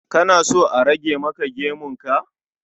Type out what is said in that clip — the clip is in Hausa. Kana so a rage maka gemun ka?